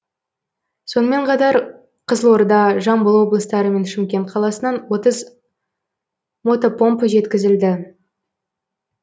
сонымен қатар қызылорда жамбыл облыстары мен шымкент қаласынан отыз мотопомпа жеткізілді